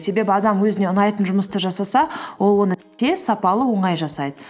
себебі адам өзіне ұнайтын жұмысты жасаса ол оны тез сапалы оңай жасайды